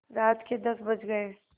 रात के दस बज गये